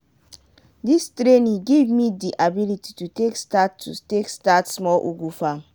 dis training give me di ability to take start to take start small ugu farm.